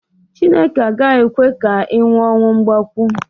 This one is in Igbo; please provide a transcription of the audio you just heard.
Chineke agaghị ekwe ka ị nwụọ ọnwụ mgbakwo